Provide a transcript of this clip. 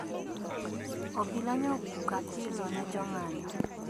Obila nyo opuko apilo ne jong`anyo